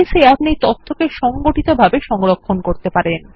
base এ আপনি তথ্যকে সংগঠিত ভাবে সংরক্ষণ করতে পারেন